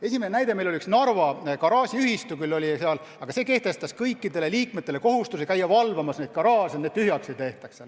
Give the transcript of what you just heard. Esimene näide: oli üks Narva garaažiühistu, kes kehtestas kõikidele liikmetele kohustuse käia öösel garaaže valvamas, et neid tühjaks ei tehtaks.